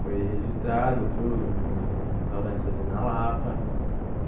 Fui registrado tudo num restaurante ali na Lapa.